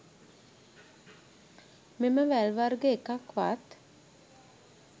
මෙම වැල් වර්ග එකක් වත්